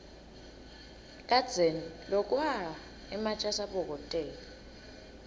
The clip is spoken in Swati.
kadzeni lokwa ematje asabokotela